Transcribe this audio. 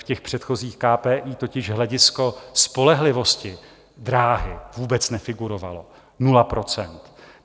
V těch předchozích KPI totiž hledisko spolehlivosti dráhy vůbec nefigurovalo, nula procent.